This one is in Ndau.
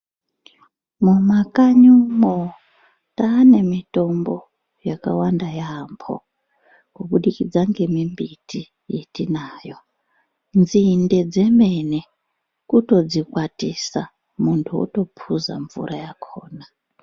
Mumakanyi umwo tane mitombo yakawanda yambo kubudikidza ngembiti yatinayo, nzinde dzemene kutodzikwatosa muntu otopuza mvura yakona.